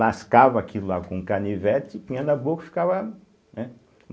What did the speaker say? Lascava aquilo lá com canivete, punha na boca e ficava, né?